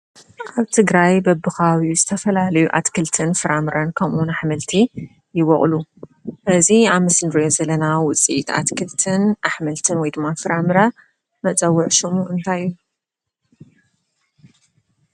ኣብ ትግራይ በቢከባቢኡ ዝተፈላለዩ ኣትክልትን ፍራምረን ከምኡ እውን ኣሕምልቲ ይቦቅሉ፡፡ እዚ ኣብ ምስሊ እንሪኦ ዘለና ውፅኢት ኣትክልትን ኣሕምልትን ወይ ድማ ፍራምረ መፀዊዒ ሽሙ እንታይ እዩ?